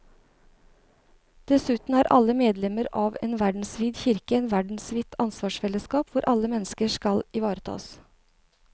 Dessuten er alle medlemmer av en verdensvid kirke og et verdensvidt ansvarsfellesskap hvor alle mennesker skal ivaretas.